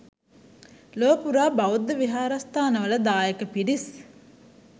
ලොව පුරා බෞද්ධ විහාරස්ථානවල දායක පිරිස්